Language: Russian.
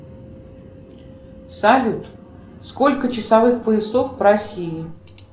салют сколько часовых поясов в россии